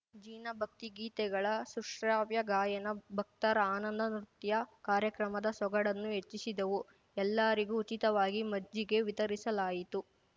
ಜಿನ ಭಕ್ತಿಗೀತೆಗಳ ಸುಶ್ರಾವ್ಯ ಗಾಯನ ಭಕ್ತರ ಆನಂದ ನೃತ್ಯ ಕಾರ್ಯಕ್ರಮದ ಸೊಗಡನ್ನು ಹೆಚ್ಚಿಸಿದವು ಎಲ್ಲರಿಗೂ ಉಚಿತವಾಗಿ ಮಜ್ಜಿಗೆ ವಿತರಿಸಲಾಯಿತು